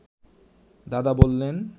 দাদা বললেন